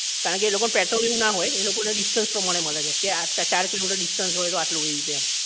કારણ કે એ લોકો ને પેટ્રોલ ને એમ ના હોય એ લોકો ને distance પ્રમાણે મળે છે કે આ ચાર કિલોમીટર distance હોય તો આટલું એમ